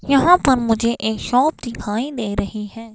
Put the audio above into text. यहां पर मुझे एक शॉप दिखाई दे रही है।